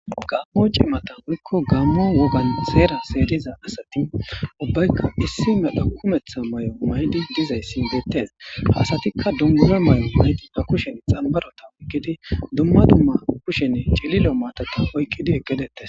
gammo cimata wuyikko gammo wogan seera seeriza asati ubbaykka issi medha kumetha may7o maydi dizayssi deettes ha asatikka dummure may7o maydima kushen xambarota oykkidi dumma dumma kushen cililo maatata oykkidi ekedettes.